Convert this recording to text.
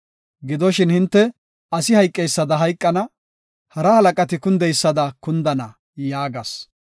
Gidoshin hinte asi hayqeysada hayqana; hara halaqati kundeysada kundana” yaagas.